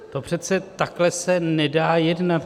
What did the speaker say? To přece takhle se nedá jednat!